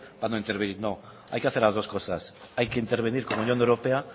para no intervenir no hay que hacer las dos cosas hay que intervenir con la unión europea